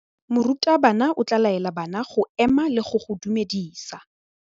Morutabana o tla laela bana go ema le go go dumedisa.